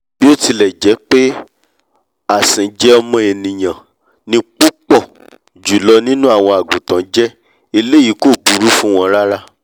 bíótilẹ̀ jẹ́pé àsìnjẹ ọmọ ènìà ni púpọ̀-jùlọ nínú àwọn àgùntàn jẹ́ eléyìí kò búrú fún wọn rárá